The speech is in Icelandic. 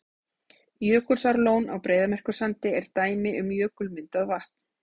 Jökulsárlón á Breiðamerkursandi er dæmi um jökulmyndað vatn.